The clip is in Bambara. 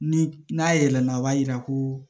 Ni n'a yɛlɛla o b'a yira ko